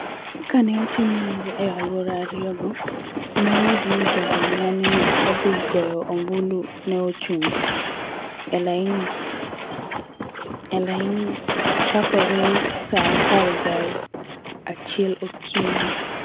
Ka ne otim nonro e alwora ariyogo, ne oyudo ni jogo ma ne odhi goyo ombulu ne ochung� e laini chakore saa apar gi achiel okinyi.